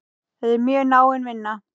Þetta er mjög náin vinna.